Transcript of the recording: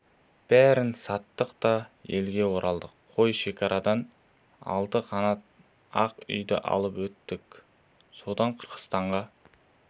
бәрін саттық та елге оралдық қой шекарадан алты қанат ақ үйді алып өттік содан қырғызстанға